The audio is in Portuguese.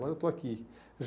Agora eu estou aqui.